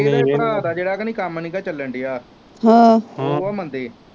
ਇਹਦੇ ਭਰਾ ਦਾ ਜਿਹੜਾ ਕਾ ਨੀ ਕੰਮ ਨਹੀਂ ਗਾ ਚੱਲਣ ਦਿਆ ਉਹ ਵਾ ਮੰਦੇ